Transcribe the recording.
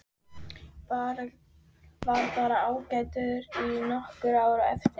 Var bara ágætur í nokkur ár á eftir.